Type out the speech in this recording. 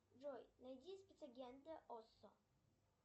джой найди спецагента оссо